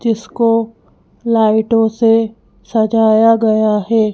जीसको लाइटों से सजाया गया है।